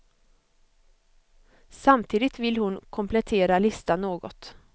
Samtidigt vill hon komplettera listan något.